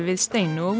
Steinu og